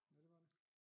Ja det var det